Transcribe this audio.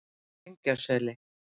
Engjaseli